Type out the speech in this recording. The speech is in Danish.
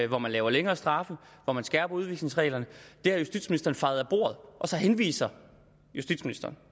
hvor man laver længere straffe hvor man skærper udvisningsreglerne det har justitsministeren fejet af bordet og så henviser justitsministeren